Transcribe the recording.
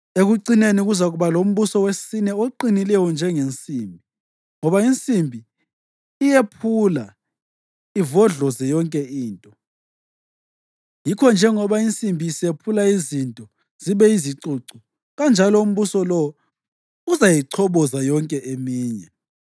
Ekucineni kuzakuba lombuso wesine oqinileyo njengensimbi ngoba insimbi iyephula ivodloze yonke into, yikho njengoba insimbi isephula izinto zibe yizicucu, kanjalo umbuso lowo uzayichoboza yonke eminye.